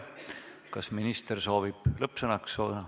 Kas minister soovib lõppsõna?